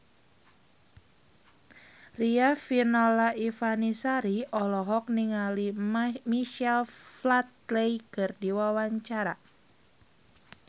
Riafinola Ifani Sari olohok ningali Michael Flatley keur diwawancara